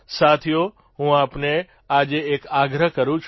સાથીઓ હું આપને આજે એક આગ્રહ કરૂં છું